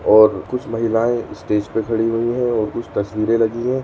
और कुछ महिलाएं स्टेज पे खड़ी हुई हैं। और कुछ तस्वीरें लगी हैं।